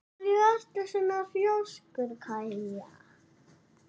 Af hverju ertu svona þrjóskur, Kaja?